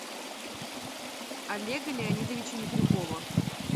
олега леонидовича микрюкова